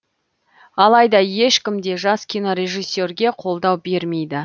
алайда ешкім де жас кинорежиссерге қолдау бермейді